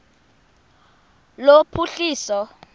lophuhliso